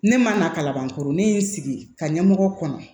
Ne ma na kaban koro ne ye n sigi ka ɲɛmɔgɔ kɔnɔ